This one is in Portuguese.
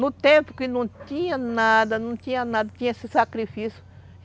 No tempo que não tinha nada, não tinha nada, tinha esse sacrifício.